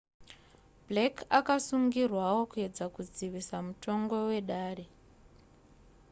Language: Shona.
blake akasungirwawo kuedza kudzivisa mutongo wedare